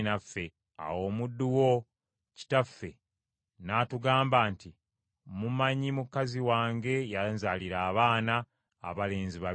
“Awo omuddu wo, kitaffe n’atugamba nti, ‘Mumanyi, mukazi wange yanzaalira abaana abalenzi babiri;